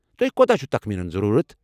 تۄہہِ کوتاہ چھُ تخمینن ضروٗرَت؟